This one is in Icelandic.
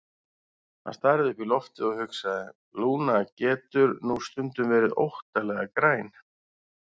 Hún starði upp í loftið og hugsaði: Lúna getur nú stundum verið óttalega græn.